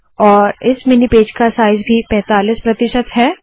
और इस mini page का साइज़ भी पैंतालीस प्रतिशत है